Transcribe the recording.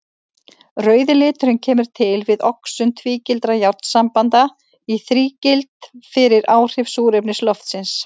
Rauði liturinn kemur til við oxun tvígildra járnsambanda í þrígild fyrir áhrif súrefnis loftsins.